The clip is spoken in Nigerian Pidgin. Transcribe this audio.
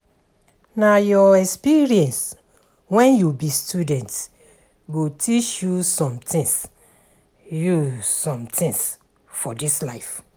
Na your experience wen you be student go teach you sometins you sometins for dis life.